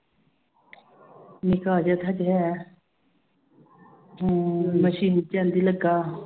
ਨਿੱਕਾ ਜਿਹਾ ਤਾਂ ਹਜੇ ਹੈ ਹਾਂ ਮਸ਼ੀਨ ਚ ਕਹਿੰਦੀ ਲੱਗਾ